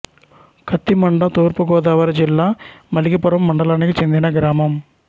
కత్తిమండ తూర్పు గోదావరి జిల్లా మలికిపురం మండలానికి చెందిన గ్రామం